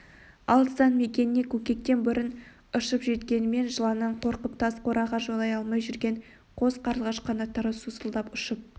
алыстан мекеніне көкектен бұрын ұшып жеткенімен жыланнан қорқып тас қораға жолай алмай жүрген қос қарлығаш қанаттары сусылдап ұшып